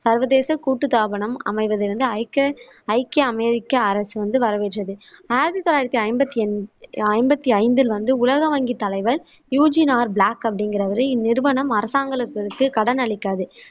சர்வதேச கூட்டுத்தாபனம் அமைவதை வந்து ஐக்க ஐக்கிய அமெரிக்க அரசு வந்து வரவேற்றது. ஆயிரத்தி தொள்ளாயிரத்தி ஐம்பத்தி அன் ஐம்பத்தி ஐந்தில் வந்து உலக வங்கி தலைவர் யூஜின் ஆர் பிளாக் அப்படிங்குறவரு இந்நிறுவனம் அரசாங்கங்களுக்கு கடன் அளிக்காது